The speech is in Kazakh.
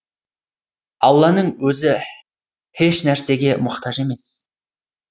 алланың өзі һеш нәрсеге мұқтаж емес